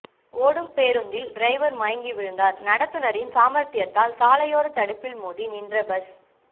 ஓடும் பேருந்தில் டிரைவர் மயங்கி விழுந்தார் நடத்துனரின் சாமர்த்தியத்தால் சாலையோர தடுப்பில் மோதி நின்ற பஸ்